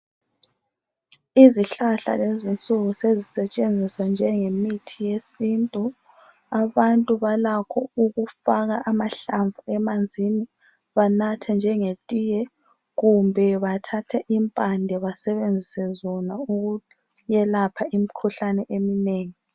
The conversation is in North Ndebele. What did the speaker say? Izihlahla kulezi insuku sezisentshenziswa njenge mithi yesintu abantu balakho ukufaka amahlamvu emanzini banathe njenge tiye kumbe bathathe impande basebenzise zona ukuyelapha imikhuhlane eminengi